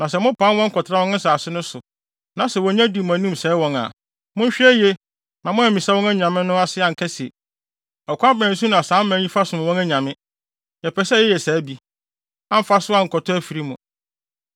na sɛ wonya di mo anim sɛe wɔn a, monhwɛ yiye na moammisa wɔn anyame no ase anka se, “Ɔkwan bɛn so na saa aman yi fa som wɔn anyame? Yɛpɛ sɛ yɛyɛ saa bi,” amfa so ankɔtɔ afiri mu.